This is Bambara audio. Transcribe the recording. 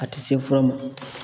A ti se fura ma.